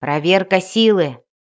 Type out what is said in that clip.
проверка силы